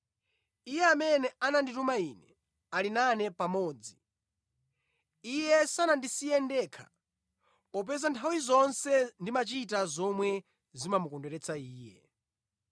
Iye amene anandituma Ine ali nane pamodzi. Iye sanandisiye ndekha popeza nthawi zonse ndimachita zomwe zimamukondweretsa Iye.”